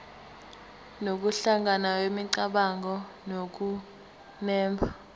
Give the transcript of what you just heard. nokuhlangana kwemicabango nokunemba